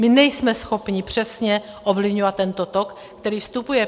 My nejsme schopni přesně ovlivňovat tento tok, který vstupuje.